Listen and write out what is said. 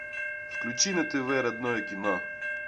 включи на тв родное кино